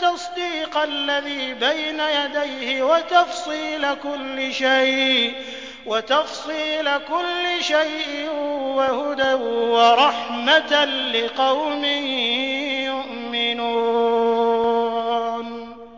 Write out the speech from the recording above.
تَصْدِيقَ الَّذِي بَيْنَ يَدَيْهِ وَتَفْصِيلَ كُلِّ شَيْءٍ وَهُدًى وَرَحْمَةً لِّقَوْمٍ يُؤْمِنُونَ